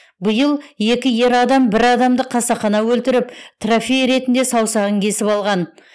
биыл екі ер адам бір адамды қасақана өлтіріп трофей ретінде саусағын кесіп алған